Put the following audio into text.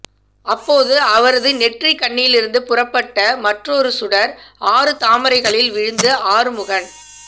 அப்போது அவரது நெற்றிக்கண்ணிலிருந்து புறப்பட்ட மற்றுமொரு சுடர் ஆறு தாமரைகளில் விழுந்து ஆறுமுகன்